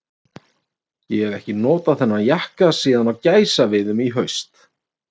Ég hef ekki notað þennan jakka síðan á gæsaveiðum í haust.